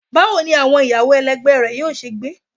Bawo ni awọn iyawo ẹlẹgbẹ rẹ yoo ṣe gbe?